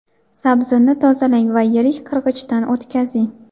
Sabzini tozalang va yirik qirg‘ichdan o‘tkazing.